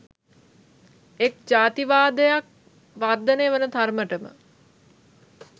එක් ජාතිවාදයක් වර්ධනය වන තරමටම